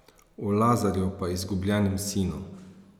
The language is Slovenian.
O Lazarju pa izgubljenem sinu ...